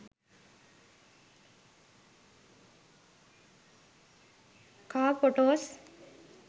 car photos